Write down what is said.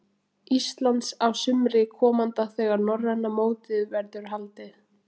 Íslands á sumri komanda þegar norræna mótið verður haldið.